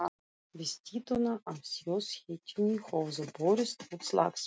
Við styttuna af þjóðhetjunni höfðu brotist út slagsmál.